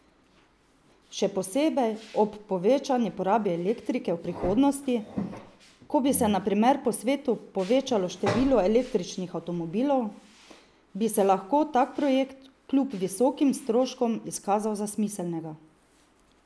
Še posebej ob povečani porabi elektrike v prihodnosti, ko bi se na primer po svetu povečalo število električnih avtomobilov, bi se lahko tak projekt kljub visokim stroškom izkazal za smiselnega.